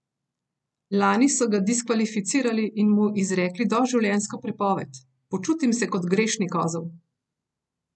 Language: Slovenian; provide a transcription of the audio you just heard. Lani so ga diskvalificirali in mu izrekli doživljenjsko prepoved: "Počutim se kot grešni kozel.